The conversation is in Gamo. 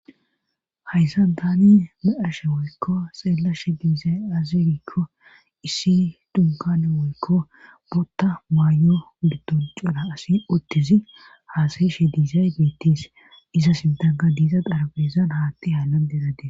Hayssan tani ba'ashe woykko xeellashe diizay azirikko issi dunkane woykko botta maayo gidon cora asi uttizi haasayishe diizay beittis iza sindaga diiza darabeezan haatti haallandedadee.